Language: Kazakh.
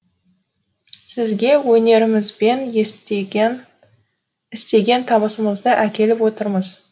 сізге өнерімізбен істеген табысымызды әкеліп отырмыз